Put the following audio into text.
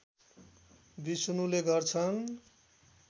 विष्णुले गर्छन्